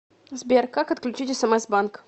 сбер как отключить смс банк